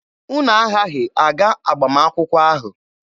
Unu aghaghị aga agbamakwụkwọ ahụ.